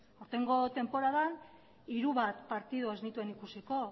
aurtengo tenporadan hiru bat partidu ez nituen ikusiko